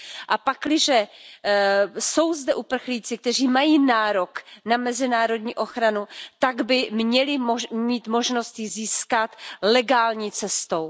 A pakliže jsou zde uprchlíci, kteří mají nárok na mezinárodní ochranu, tak by měli mít možnost ji získat legální cestou.